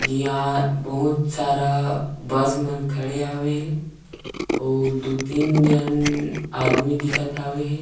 जिहा बहुत सारा बस मन खड़े हावे हे अउ दू तीन झन आदमी दिखत हावे हे।